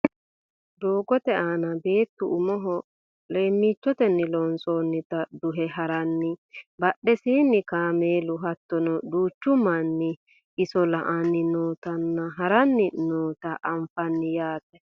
Doogote aana beettu umoho leemmicotenni loonsoonnita duhe haranna badhesiinni kaameelu hattono duuchu manni iso la"anni nootanna haranni noota anfanni yaate